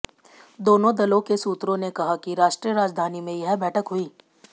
दोनों दलों के सूत्रों ने कहा कि राष्ट्रीय राजधानी में यह बैठक हुई